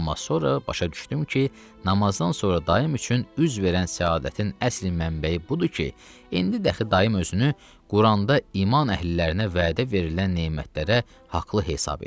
Amma sonra başa düşdüm ki, namazdan sonra daim üçün üz verən səadətin əsli mənbəyi budur ki, indi dəxi daim özünü Quranda iman əhlilərinə vədə verilən nemətlərə haqlı hesab eləyir.